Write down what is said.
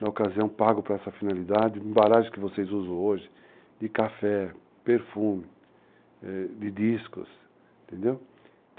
Na ocasião, pago para essa finalidade, embalagens que vocês usam hoje, de café, perfume, de discos, entendeu?